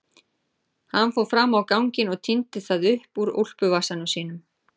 Hann fór fram á ganginn og tíndi það upp úr úlpuvasanum sínum.